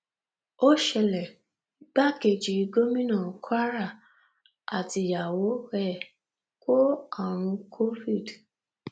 ó ṣẹlẹ igbákejì gómìnà kwara àtìyàwó ẹ kó àrùn covid